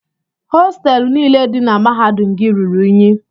Hostelụ niile dị na mahadum gị ruru unyi.